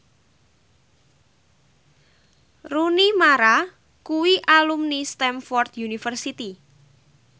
Rooney Mara kuwi alumni Stamford University